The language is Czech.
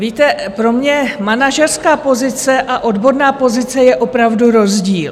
Víte, pro mě manažerská pozice a odborná pozice je opravdu rozdíl.